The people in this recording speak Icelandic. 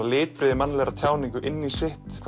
litbrigði mannlegrar tjáningar í sitt